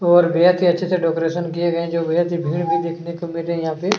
और बेहद ही अच्छे से डेकोरेशन किए गए हैं जो बहुत ही भीड़ भी देखने को मिल रहे है यहाँ पे।